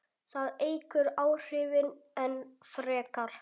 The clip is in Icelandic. Það eykur áhrifin enn frekar.